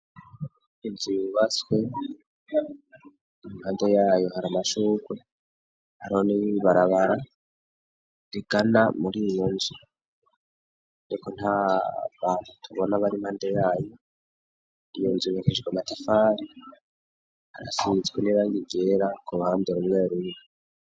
Inzu yubatswe, impande yayo hari amashurwe, hariho n'ibarabara rigana muriyo nzu, ariko nta bantu tubona bari impande yayo, iyo nzu yubakishijwe matafari asizwe nibara ryera k'uruhande rumwe rumwe.